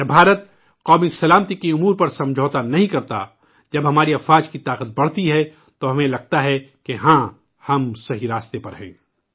جب ہندوستان قومی سلامتی کے امور پر سمجھوتہ نہیں کرتا، جب ہماری افواج کی طاقت بڑھتی ہیں، تو ہمیں لگتا ہے کہ ہاں، ہم صحیح راستے پر گامزن ہیں